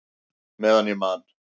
Meðan ég man!